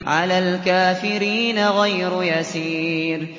عَلَى الْكَافِرِينَ غَيْرُ يَسِيرٍ